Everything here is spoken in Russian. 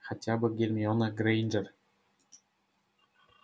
хотя бы гермиона грэйнджер